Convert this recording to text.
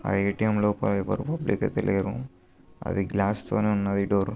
ఆ ఏ.టి.మ్. లోపల ఎవరు పబ్లిక్ అయితే లేరు అది గ్లాస్ తోనే ఉన్నది డోర్ .